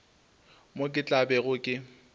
moo ke tla bego ke